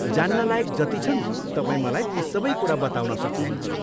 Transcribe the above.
जान्नलायक जति छन् तपाईँ मलाई ती सबै कुरा बताउन सक्नुहुन्छ।